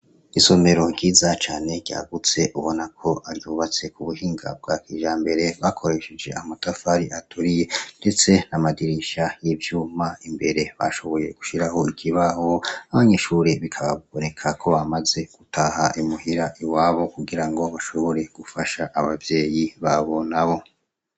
Isomero ryiza cane ryagutse ubonako baryibatse k'ubuhinga bwakijambere bakoresheje amatafari aturiye, rifise amadirisha y'ivyuma, imbere bashoboye gushiraho ikibaho ,abanyeshure bikabonekako bamaze gutaha imuhira iwabo, kugirango bashobore gufasha Abavyeyi babo nabo.